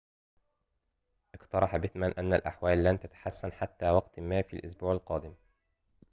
اقترح بيتمان أن الأحوال لن تتحسن حتى وقتٍ ما في الأسبوع القادم